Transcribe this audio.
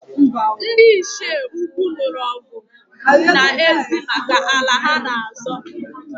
Ndị Ichie ukwu nụrụ ọgụ na ezi maka ala ha-na azọ